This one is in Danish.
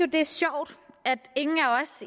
det er sjovt at ingen